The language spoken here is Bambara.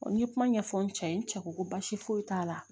n ye kuma ɲɛfɔ n cɛ ye n cɛ ko ko baasi foyi t'a la